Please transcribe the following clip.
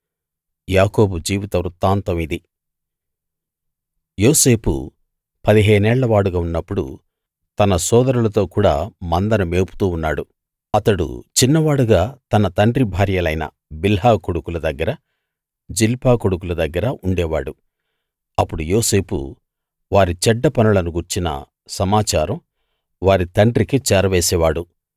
యాకోబు జీవిత వృత్తాంతం ఇది యోసేపు పదిహేనేళ్ళ వాడుగా ఉన్నప్పుడు తన సోదరులతో కూడ మందను మేపుతూ ఉన్నాడు అతడు చిన్నవాడుగా తన తండ్రి భార్యలైన బిల్హా కొడుకుల దగ్గరా జిల్పా కొడుకుల దగ్గరా ఉండేవాడు అప్పుడు యోసేపు వారి చెడ్డ పనులను గూర్చిన సమాచారం వారి తండ్రికి చేరవేసేవాడు